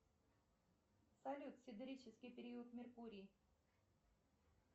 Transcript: салют сидерический период меркурий